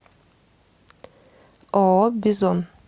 ооо бизон